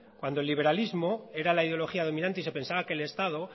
cuando el liberalismo era la ideología dominante y se pensaba que el estado